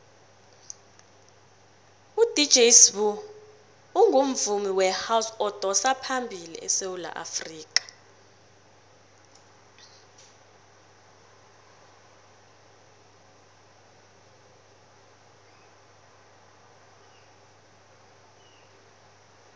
udj sbu ungumvumi wehouse odosaphambili esewula afrikha